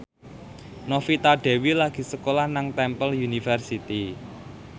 Novita Dewi lagi sekolah nang Temple University